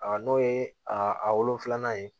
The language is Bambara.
A n'o ye a wolonfilanan ye